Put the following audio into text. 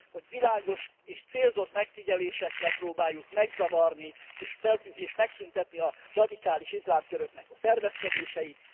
Hogy világos és célzott megfigyelésekkel próbáljuk megzavarni és megszüntetni a radikális iszlám köröknek a szervezkedéseit.